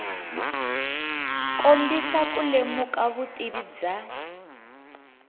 kombisa ku lemuka vutivi bya